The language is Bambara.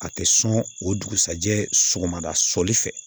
A tɛ sɔn o dugusajɛ sɔgɔmada soli fɛ